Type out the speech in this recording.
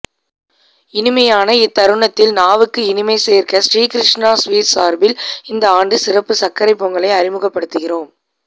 இனிமையான அத்தருணத்தில் நாவுக்கும் இனிமை சோ்க்க ஸ்ரீ கிருஷ்ணா ஸ்வீட்ஸ் சாா்பில் இந்த ஆண்டு சிறப்பு சா்க்கரைப் பொங்கலை அறிமுகப்படுத்துகிறோம்